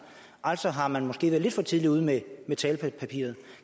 altså har man måske været lidt for tidligt ude med talepapiret